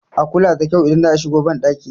a kula da kyau idan za a shigo bandaki